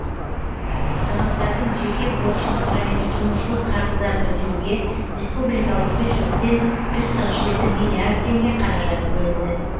азаматтардың жеке борыштық және тұтынушылық қарыздарын өтеуге республикалық бюджеттен жүз қырық жеті миллиард теңге қаражат бөлінді